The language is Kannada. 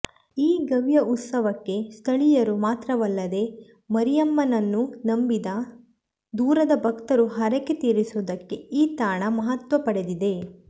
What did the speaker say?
ಈ ಗವಿಯ ಉತ್ಸವಕ್ಕೆ ಸ್ಥಳೀಯರು ಮಾತ್ರವಲ್ಲದೇ ಮರಿಯಮ್ಮನನ್ನು ನಂಬಿದ ದೂರದ ಭಕ್ತರು ಹರಕೆ ತೀರಿಸುವುದಕ್ಕೂ ಈ ತಾಣ ಮಹತ್ವ ಪಡೆದಿದೆ